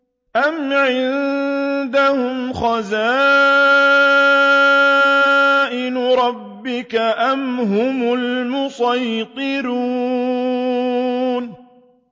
أَمْ عِندَهُمْ خَزَائِنُ رَبِّكَ أَمْ هُمُ الْمُصَيْطِرُونَ